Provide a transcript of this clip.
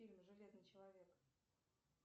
фильм железный человек